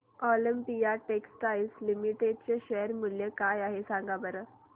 Olympia textiles limited चे share मूल्य काय आहे सांगा बरं